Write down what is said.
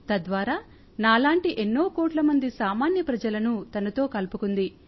తద్వారా నాలాంటి ఎన్నో కోట్లమంది సామాన్య ప్రజలను తనతో కలుపుకుంది